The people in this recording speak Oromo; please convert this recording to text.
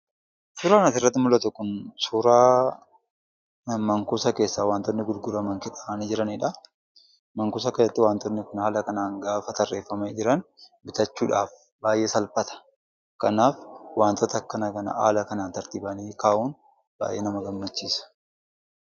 Suuraa asirratti mul'atu kun suuraa man-kuusa keessaa wantootni gurguraman keessa taa'anii jiraniidha. Man-kuusa keessatti wantootni haala kanaan gaafa tarreeffamanii jiran bitachuudhaaf baay'ee salphata. Kanaaf, wantoota akkanaa kana haala kanaan tartiibaan kaa'uun baay'ee nama gammachiisa.